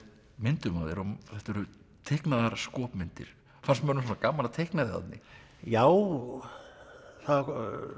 myndum af þér og þetta eru teiknaðar skopmyndir fannst mönnum svona gaman að teikna þig Árni já það